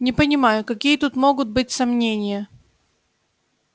не понимаю какие тут могут быть сомнения